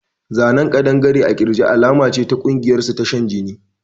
A tattooof a lizard on the chest is a sign of their secret cult